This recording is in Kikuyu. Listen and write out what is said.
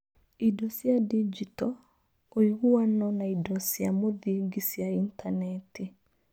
Indo cia Digito, ũiguano na indo cia mũthingi cia Intaneti